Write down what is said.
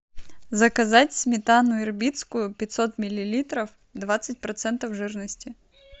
заказать сметану ирбитскую пятьсот миллилитров двадцать процентов жирности